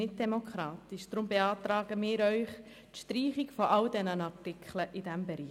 Darum beantragen wir die Streichung aller Artikel in diesem Bereich.